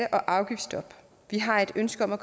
afgiftsstop vi har et ønske om at